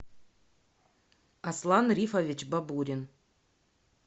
аслан рифович бабурин